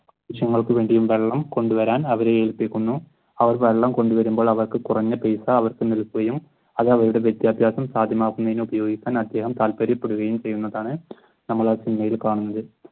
ആവശ്യങ്ങൾക്കും വേണ്ടി വെള്ളം കൊണ്ടുവരാൻ അവരെ ഏൽപ്പിക്കുന്നു അവർ വെള്ളം കൊണ്ടുവരുമ്പോൾ അവർക്ക് കുറഞ്ഞ പൈസ അവർക്ക് നൽകുകയും അത് അവരുടെ വിദ്യാഭ്യാസം സാധ്യമാക്കുന്നതിന് ഉപയോഗിക്കാൻ അദ്ദേഹം താല്പര്യപ്പെടുകയും ചെയ്യുന്നതാണ് നമ്മൾ ആ സിനിമയിൽ കാണുന്നത്